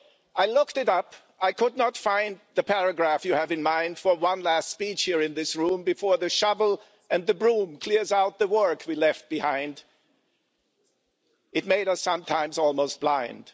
I looked it up, I could not find, the paragraph you have in mind, for one last speech here in this room, before the shovel and the broom, clears out the work we left behind, it sometimes almost made us blind.